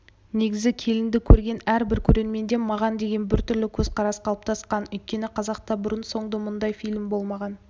негізі келінді көрген әрбір көрерменде маған деген біртүрлі көзқарас қалыптасқан өйткені қазақта бұрын-соңды мұндай фильм болмаған